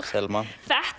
þetta